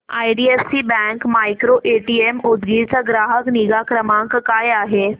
IDFC bank micro ATM Udgir चा ग्राहक निगा क्रमांक काय आहे सांगा